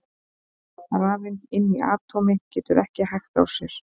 Rafeind inni í atómi getur ekki hægt á sér!